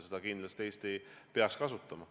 Seda peaks Eesti kindlasti kasutama.